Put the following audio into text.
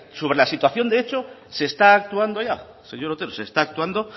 sobre la situación de hecho se está actuando ya señor otero se está actuando